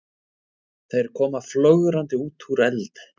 Þeir koma flögrandi út úr eld